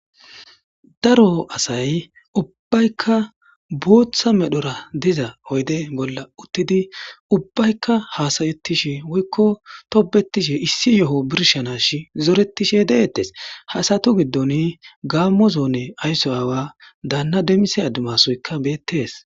Daro asay ubbaykka booththa medhora diza oyde bolla uttidi ubbaykka haasayettishi woykko tobetishi issi yo'o birshanashi zoretishe deettes hasatu giddon gaammo zoone aysso aawa daanna demmise adimasoykka beettees.